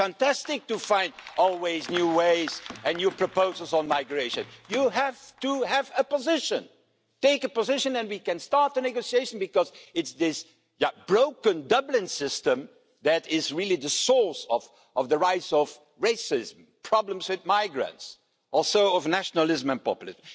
It's fantastic to find always ways and new proposals on migration, but you have to have a position. Take a position and we can start negotiations, because it is this broken Dublin system that really is the source of the rise of racism, problems with migrants, and also of nationalism and populism.